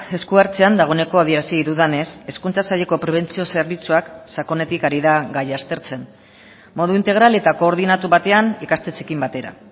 esku hartzean dagoeneko adierazi dudanez hezkuntza saileko prebentzio zerbitzuak sakonetik ari da gaia aztertzen modu integral eta koordinatu batean ikastetxeekin batera